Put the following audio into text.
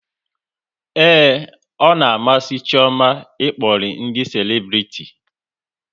Ee, ọ na-amasị Chioma ịkpọri ndị selebriti